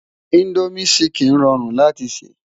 Indómi ṣìkín ròrún láti sè